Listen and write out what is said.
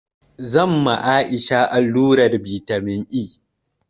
Zan ma Aisha allurar vitamin E